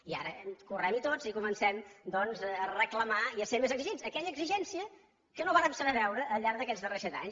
i ara correm hi tots i comencem a reclamar i a ser més exigents aquella exigència que no vàrem saber veure al llarg d’aquests darrers set anys